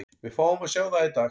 Við fáum að sjá það í dag.